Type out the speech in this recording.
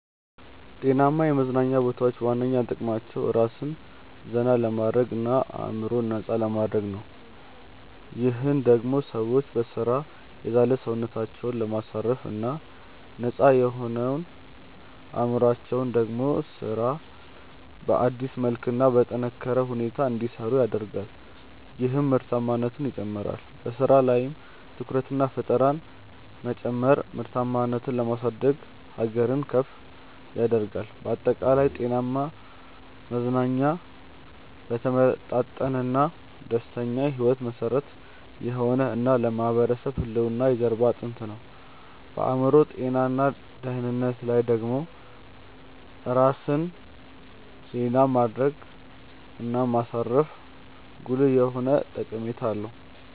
ጤናማ የመዝናኛ ቦታዎች ዋነኛ ጥቅማቸው ራስን ዘና ለማድረግ እና አዕምሮን ነፃ ለማድረግ ነው። ይህም ደሞ ሰዎች በሥራ የዛለ ሰውነታቸውን ለማሳረፍ እና ነፃ የሆነው አዕምሮአቸው ደሞ ስራን በአዲስ መልክ እና በጠነካረ ሁኔታ እንዲሰሩ ያደርጋል ይህም ምርታማነትን ይጨምራል። በሥራ ላይም ትኩረትንና ፈጠራን መጨመር ምርታማነትን የማሳደግ ሀገርን ከፍ ያደርጋል። ባጠቃላይ፣ ጤናማ መዝናኛ ለተመጣጠነና ደስተኛ ሕይወት መሠረት የሆነ እና ለማህበረሰብ ህልውና የጀርባ አጥንት ነው። በአዕምሮ ጤና እና ደህንነት ላይ ደሞ ራስን ዜና ማድረግ እና ማሳረፉ ጉልህ የሆነ ጠቀሜታ አለው።